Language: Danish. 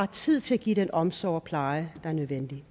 tid til at give den omsorg og pleje der er nødvendig